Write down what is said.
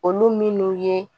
Olu minnu ye